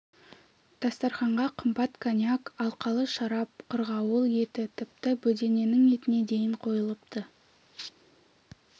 дастарқанға қымбат коньяк алқалы шарап қырғауыл еті тіпті бөдененің етіне дейін қойылыпты